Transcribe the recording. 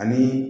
Ani